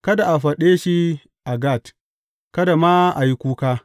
Kada a faɗe shi a Gat; kada ma a yi kuka.